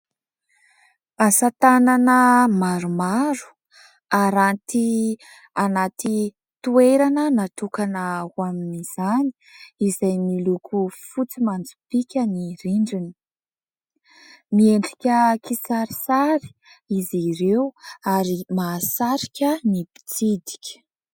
Asa tanana maromaro aranty anaty toerana natokana ho amin'izany izay miloko fotsy manjopiaka ny rindrina. Miendrika kisarisary izy ireo ary mahasarika ny mpitsidika.